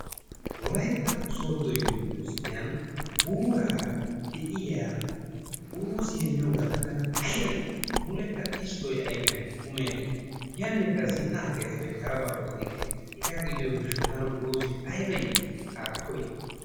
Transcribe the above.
Wolayitta sooddo umbursttiyan guuraara de'iya uruuziya miyo galla tana ayiba iiti mulekka xiskkoy ayipiyan kummi agges yannekka zin"aagayisppe attin harabaa oottikke. Hegaa gidiyo gishaw tana uruuzee ayiba iiti haakko i.